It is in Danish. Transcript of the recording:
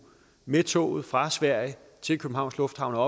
med toget fra sverige til københavns lufthavn har